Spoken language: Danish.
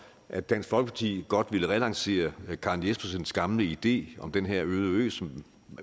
at dansk folkeparti godt ville relancere karen jespersens gamle idé om den her øde ø som